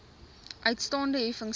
uitstaande heffings plus